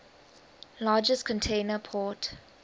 largest container port